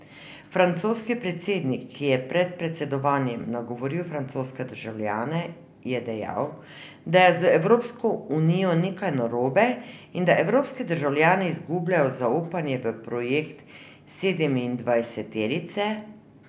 Francoski predsednik, ki je pred predsedovanjem nagovoril francoske državljane, je dejal, da je z Evropsko unijo nekaj narobe in da evropski državljani izgubljajo zaupanje v projekt sedemindvajseterice.